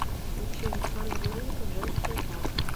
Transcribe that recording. включи александр новиков женский этап